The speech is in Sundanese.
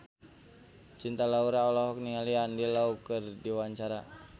Cinta Laura olohok ningali Andy Lau keur diwawancara